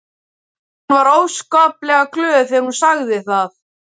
Hún var óskaplega glöð þegar hún sagði það.